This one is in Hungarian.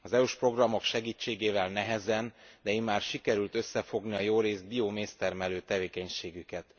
Az EU s programok segítségével nehezen, de immár sikerült összefogni a jórészt bioméztermelő tevékenységüket.